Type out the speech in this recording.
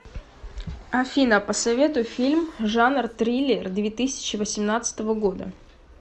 афина посоветуй фильм жанр триллер две тысячи восемнадцатого года